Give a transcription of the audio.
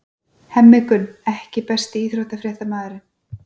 Hemmi Gunn EKKI besti íþróttafréttamaðurinn?